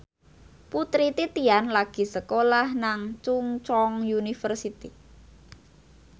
Putri Titian lagi sekolah nang Chungceong University